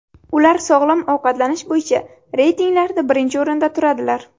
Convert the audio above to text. Ular sog‘lom ovqatlanish bo‘yicha reytinglarda birinchi o‘rinda turadilar.